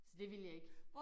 Så det ville jeg ikke